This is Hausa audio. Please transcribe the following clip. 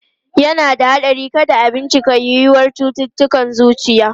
Yana da haɗari kada a bincika yiwuwar cututtukan zuciya.